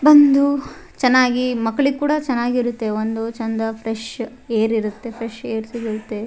ಬಂದು ಚೆನ್ನಾಗಿ ಮಕ್ಕ್ಳಿಗ್ ಕೂಡ ಚೆನ್ನಾಗಿರುತ್ತೆ ಒಂದು ಚಂದ ಫ್ರೆಶ್ ಏರ್ ಇರುತ್ತೆ ಫ್ರೆಶ್ ಏರ್ ಸಿಗುತ್ತೆ.